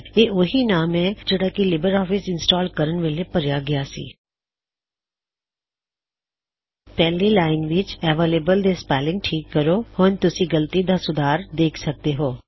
ਇਹ ਓਹੀ ਨਾਮ ਹੈ ਜਿਹੜਾ ਕੀ ਲਿਬਰ ਆਫਿਸ ਇੰਸਟਾਲ ਕਰਨ ਵੇਲੇ ਭਰਿਆ ਗਇਆ ਸੀ ਪਹਿਲੀ ਲਾਇਨ ਵਿੱਚ ਅਵੈਲੇਬਲ ਦੇ ਸਪੈੱਲਿੰਗ ਠੀਕ ਕਰੋ ਹੁਣ ਤੁਸੀਂ ਗਲਤੀ ਦਾ ਸੁਧਾਰ ਦੇਖ ਸਕਦੇ ਹੋਂ